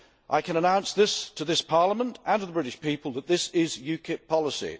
I can announce to this Parliament and to the British people that this is UKIP policy.